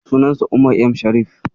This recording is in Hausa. Sunansa Umar M Sharif.